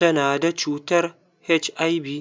Ta na da cutar HIV.